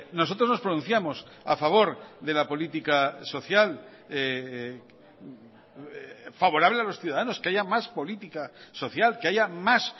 nosotros nos pronunciamos a favor de la política social favorable a los ciudadanos que haya más política social que haya más